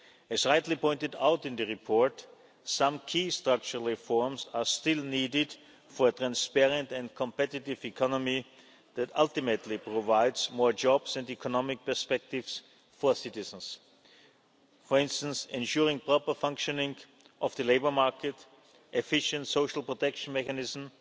It is rightly pointed out in the report that some key structural reforms are still needed for a transparent and competitive economy that ultimately provides more jobs and economic perspectives for citizens. For instance, ensuring proper functioning of the labour market, an efficient social protection mechanism,